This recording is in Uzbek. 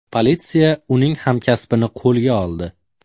Politsiya uning hamkasbini qo‘lga oldi.